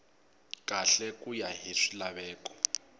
kahle ku ya hi swilaveko